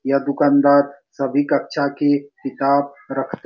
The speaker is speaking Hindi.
यह दुकानदार सभी कक्षा के किताब रख --